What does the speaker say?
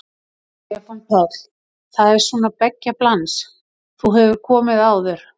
Stefán Páll: Það er svona beggja blands, þú hefur komið áður?